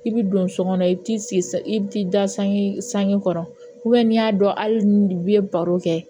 I bi don so kɔnɔ i bi sigi i bi t'i da sange san sanji kɔrɔ n'i y'a dɔn hali ni ye baro kɛ